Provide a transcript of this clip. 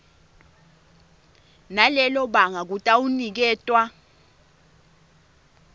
nalelo banga kutawuniketwa